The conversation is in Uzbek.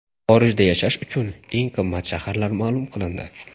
Xorijda yashash uchun eng qimmat shaharlar ma’lum qilindi.